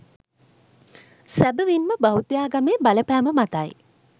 සැබැවින්ම බෞද්ධාගමේ බලපෑම මතයි.